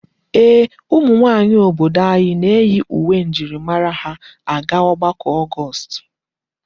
Ee, ụmụ nwaanyị obodo anyị na-eyi uwe njirimara ha aga ọgbakọ ọnwa Ọgọọst.